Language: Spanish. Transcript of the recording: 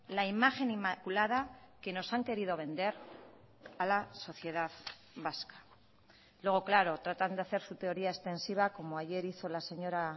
la imagen inmaculada que nos han querido vender a la sociedad vasca luego claro tratan de hacer su teoría extensiva como ayer hizo la señora